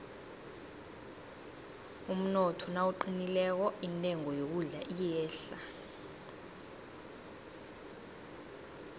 umnotho nawuqinileko intengo yokudla iyehla